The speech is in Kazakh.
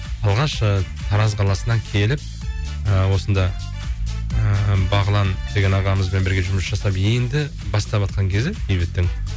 алғаш і тараз қаласынан келіп ы осында ыыы бағлан деген ағамызбен бірге жұмыс жасап енді баставатқан кезі бейбіттің